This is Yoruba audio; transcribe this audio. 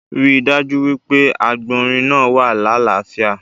Rí dájú wípé àgbònrín náa wà lalafia